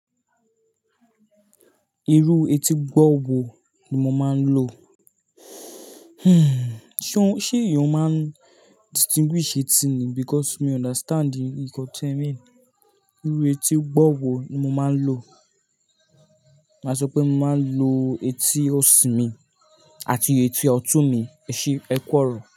Irú etí gbọ́ọ̀ wo ni mo máa ń lo? Hmm, ṣé, ṣé èèyàn máa ń distinguish etí ni? Because mi understand nnkan ti ẹ mean. Irú etí gbọ́ọ̀ wo ni mo máa ń lo? Máa sọ pé mo máa ń lo etí òsì mi àti etí ọ̀tún mi. Ẹṣé, ẹku ọ̀rọ̀.